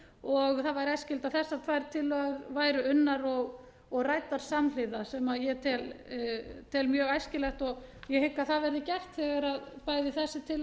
æskilegt að þessar tvær tillögur væru unnar og ræddar samhliða sem ég tel mjög æskilegt og ég hygg að það verði gert þegar bæði þessi tillaga